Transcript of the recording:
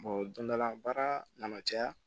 dondala baara nana caya